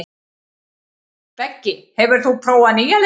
Beggi, hefur þú prófað nýja leikinn?